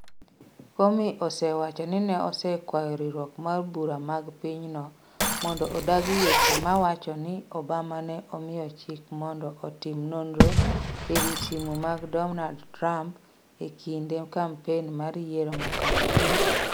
Comey osewacho ni osekwayo riwruok mar bura mag pinyno mondo odagi weche mawacho ni Obama ne omiyo chik ni mondo otim nonro ewi simu mag Donald Trump e kinde kampen mar yiero mokalo.